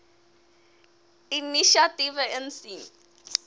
inisiatiewe insien